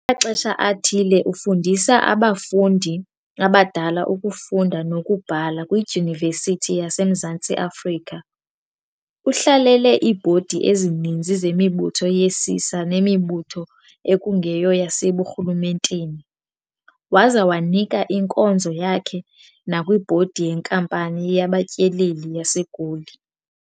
Ngamaxesha athile ufundisa abafundi abadala ukufunda nokubhala kwiDyunivesithi yaseMzantsi Afrika, uhlalele iibhodi ezininzi zemibutho yesisa nemibutho ekungeyo yaseburhulumenteni, waza wanika inkozo yakhe nakwibhodi yenkampani yabaTyeleli yaseGoli.